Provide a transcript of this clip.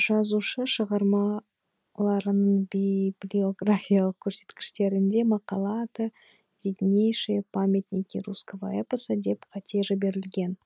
жазушы шығармларының библиографиялық көрсеткіштерінде мақала аты виднейшие памятники русского эпоса деп қате жіберілген